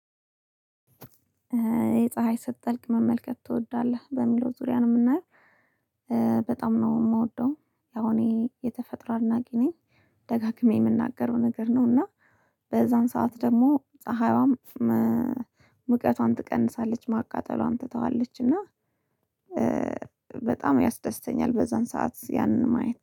የፀሀይ ስትጠልቅ መመልከት ትወዳለህ በሚለው ዙሪያ ነው የምናየው። በጣም ነው የምወደው ያው እኔ የተፈጥሮ አድናቂ ነኝ። ደጋግሜ የምናገረው ነገር ነው እና በዛን ሰዓት ደግሞ ፀሀይዋም ሙቀቷን ትቀንሳለች ማቃጠሏን ትተዋለች እና። በጣም ያስደስተኛል በዛን ሰዓት ያንን ማየት